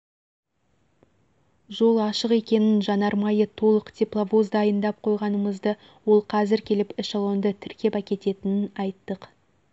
жол ашық екенін жанармайы толық тепловоз дайындап қойғанымызды ол қазір келіп эшелонды тіркеп әкететінін айттық